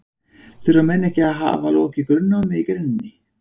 Þurfa menn ekki að hafa lokið grunnnámi í greininni?